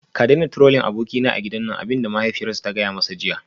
Ka daina Trolling abokinka a gidan nan abin da mahaifiyarsa ta gaya masa jiya